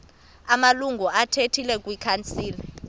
amalungu athile kwikhansile